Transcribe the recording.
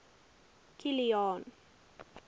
kilian